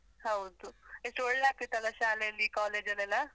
ಹೌದು, ಎಷ್ಟು ಒಳ್ಳೇ ಆಗ್ತಿತ್ತಲ್ಲ ಶಾಲೆಯಲ್ಲಿ, college ಅಲ್ಲೆಲ್ಲಾ?